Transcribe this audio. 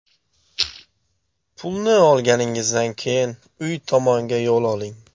Pulni olganingizdan keyin uy tomonga yo‘l oling.